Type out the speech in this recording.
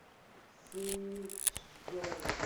синьчжоу